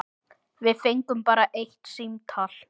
Við fengum bara eitt símtal.